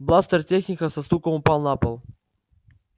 бластер техника со стуком упал на пол